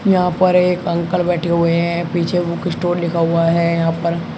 यहां पर एक अंकल बैठे हुए हैं पीछे बुक स्टोर लिखा हुआ है यहां पर--